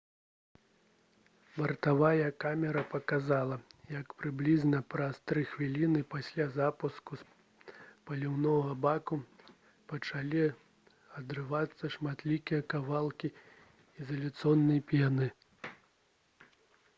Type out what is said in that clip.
бартавая камера паказала як прыблізна праз 3 хвіліны пасля запуску з паліўнага бака пачалі адрывацца шматлікія кавалкі ізаляцыйнай пены